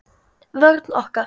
Vörn okkar